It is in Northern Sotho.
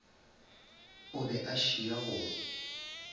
o be a šia go